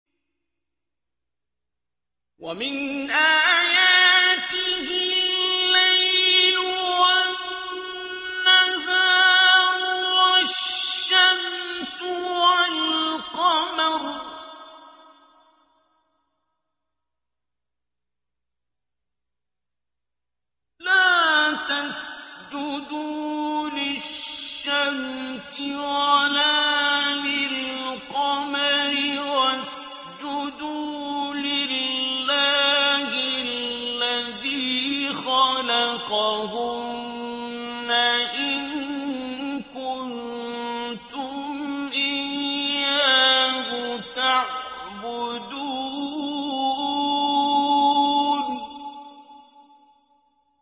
وَمِنْ آيَاتِهِ اللَّيْلُ وَالنَّهَارُ وَالشَّمْسُ وَالْقَمَرُ ۚ لَا تَسْجُدُوا لِلشَّمْسِ وَلَا لِلْقَمَرِ وَاسْجُدُوا لِلَّهِ الَّذِي خَلَقَهُنَّ إِن كُنتُمْ إِيَّاهُ تَعْبُدُونَ